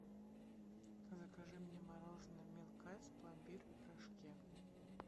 закажи мне мороженое милк айс пломбир в рожке